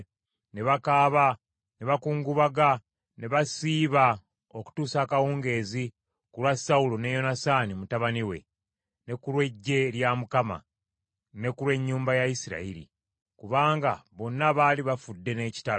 Ne bakaaba, ne bakungubaga ne basiiba okutuusa akawungeezi ku lwa Sawulo ne Yonasaani mutabani we; ne ku lw’eggye lya Mukama , ne ku lw’ennyumba ya Isirayiri; kubanga bonna baali bafudde n’ekitala.